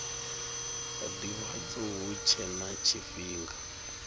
ndivhadzo hu tshe na tshifhinga